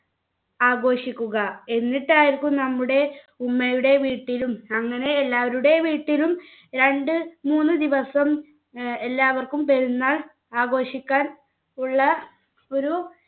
ആഘോഷിക്കുക എന്നിട്ടായിരിക്കും നമ്മുടെ ഉമ്മയുടെ വീട്ടിലും അങ്ങനെ എല്ലാവരുടെ വീട്ടിലും രണ്ട് മൂന്ന് ദിവസം ഏർ എല്ലാവർക്കും പെരുന്നാൾ ആഘോഷിക്കാൻ ഉള്ള ഒരു